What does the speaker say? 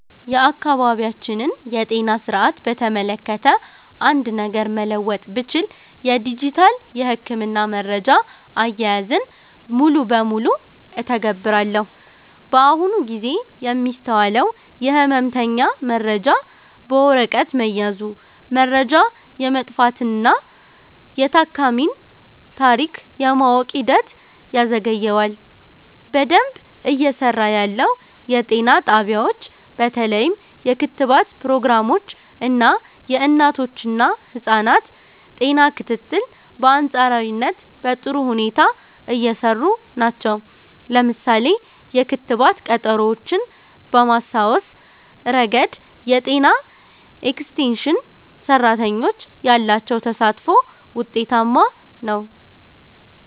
የአካባቢያችንን የጤና ሥርዓት በተመለከተ አንድ ነገር መለወጥ ብችል፣ የዲጂታል የሕክምና መረጃ አያያዝን (Electronic Health Records) ሙሉ በሙሉ እተገብራለሁ። በአሁኑ ጊዜ የሚስተዋለው የሕመምተኛ መረጃ በወረቀት መያዙ፣ መረጃ የመጥፋትና የታካሚን ታሪክ የማወቅ ሂደትን ያዘገየዋል። በደንብ እየሰራ ያለው፦ የጤና ጣቢያዎች በተለይም የክትባት ፕሮግራሞች እና የእናቶችና ህፃናት ጤና ክትትል በአንፃራዊነት በጥሩ ሁኔታ እየሰሩ ናቸው። ለምሳሌ፣ የክትባት ቀጠሮዎችን በማስታወስ ረገድ የጤና ኤክስቴንሽን ሰራተኞች ያላቸው ተሳትፎ ውጤታማ ነው።